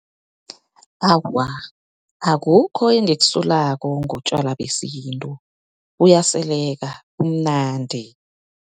Awa, akukho engikusolako ngotjwala besintu. Buyaseleka, bumnandi.